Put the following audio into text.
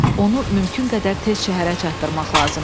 Onu mümkün qədər tez şəhərə çatdırmaq lazımdır.